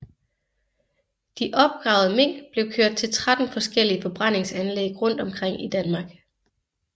De opgravede mink blev kørt til 13 forskellige forbrændingsanlæg rundt omkring i Danmark